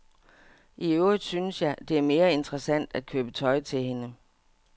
I øvrigt synes jeg, det er mere interessant at købe tøj til hende.